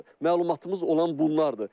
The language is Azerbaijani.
Məlumatımız olan bunlardır.